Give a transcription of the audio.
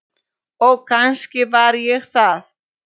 Og kannski var ég það.